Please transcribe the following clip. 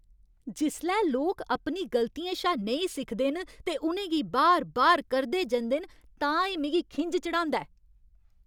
जिसलै लोक अपनी गलतियें शा नेईं सिखदे न ते उ'नें गी बार बार करदे जंदे न तां एह् मिगी खिंझ चढ़ांदा ऐ।